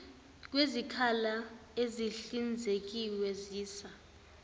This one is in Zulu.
kwezikhala ezihlinzekiwe siza